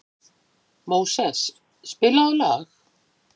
Móses, spilaðu lag.